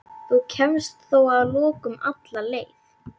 Þú kemst þó að lokum alla leið.